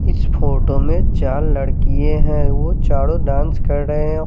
इस फोटो में चार लड़कीये है वो चारो डांस कर रहे--